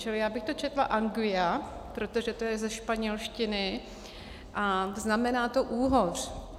Čili já bych to četla "anguia" , protože to je ze španělštiny, a znamená to úhoř.